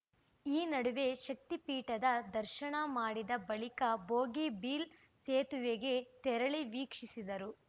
ಈ ನಡುವೆ ಶಕ್ತಿ ಪೀಠದ ದರ್ಶನ ಮಾಡಿದ ಬಳಿಕ ಭೋಗಿಬಿಲ್‌ ಸೇತುವೆಗೆ ತೆರಳಿ ವೀಕ್ಷಿಸಿದರು